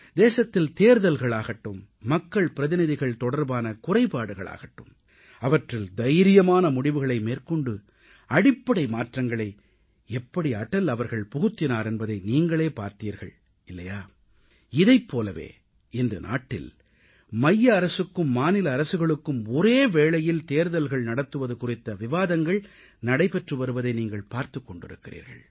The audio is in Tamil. தேசத்தில் தேர்தல்களாகட்டும் மக்கள் பிரதிநிதிகள் தொடர்பான குறைபாடுகளாகட்டும் அவற்றில் தைரியமான முடிவுகளை மேற்கொண்டு அடிப்படை மாற்றங்களை எப்படி அடல் அவர்கள் புகுத்தினார் என்பதை நீங்களே பார்த்தீர்கள் இல்லையா இதைப் போலவே இன்று நாட்டில் மைய அரசுக்கும் மாநில அரசுகளுக்கும் ஒரே வேளையில் தேர்தல்கள் நடத்துவது குறித்த விவாதங்கள் நடைபெற்று வருவதை நீங்கள் பார்த்துக் கொண்டிருக்கிறீர்கள்